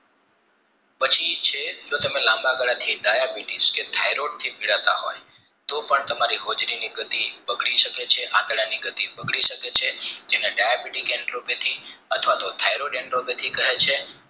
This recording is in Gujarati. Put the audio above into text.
પછી છે જો તમે લાંબા ગાળા થી diabetes કે thairaid થી પીડાતા હોય તો પણ તમારી હોજરીની ગતિ બગડી શકે છે આંતરડાની ગતિ બગડી શકે છે જેને diabete kentropethy અથવા તો thairaid kentropethy હોય છે